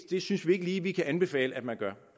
det synes vi ikke lige vi kan anbefale at man gør